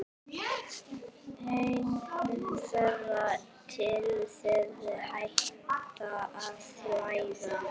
Eða þangað til þeir hætta að leita.